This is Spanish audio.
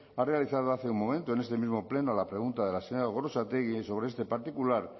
ha realizado hace un momento en este mismo pleno a la pregunta de la señora gorrotxategi sobre este particular